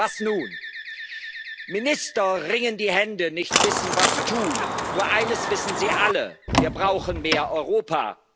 Was nun? Minister ringen die Hände, nicht wissend, was tun. Nur eines wissen sie alle Wir brauchen mehr